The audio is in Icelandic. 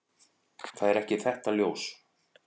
Það er ekki þetta ljós.